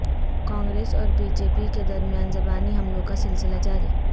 کانگریس اور B J P کے درمیان زبانی حملوں کا سلسلہ جاری